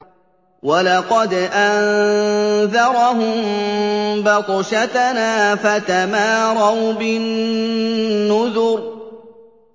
وَلَقَدْ أَنذَرَهُم بَطْشَتَنَا فَتَمَارَوْا بِالنُّذُرِ